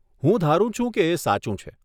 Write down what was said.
હું ધારું છું કે એ સાચું છે.